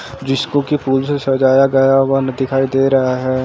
जिस को की फूल से सजाया गया हुआ न दिखाई दे रहा है।